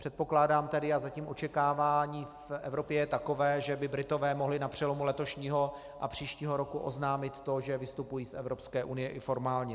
Předpokládám tedy, a zatím očekávání v Evropě je takové, že by Britové mohli na přelomu letošního a příštího roku oznámit to, že vystupují z Evropské unie i formálně.